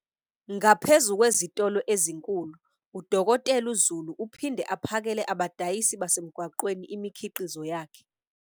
Ngaphezu kwezitolo ezinkulu, u-Dkt Zulu uphinde aphakele abadayisi basemgwaqeni imikhiqizo yakhe.